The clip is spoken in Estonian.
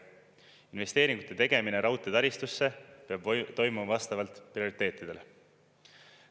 Investeeringute tegemine raudteetaristusse peab toimuma vastavalt prioriteetidele.